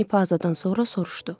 Ani pazadan sonra soruşdu.